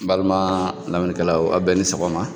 N baliman lamɛnnikalaw aw bɛɛ ni sɔgɔma?